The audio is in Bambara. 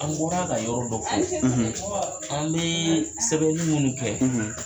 An bɔra ka yɔrɔ dɔ fɔ; an bɛ sɛbɛnni minnu kɛ,